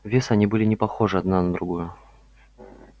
вес они были не похожи одна на другую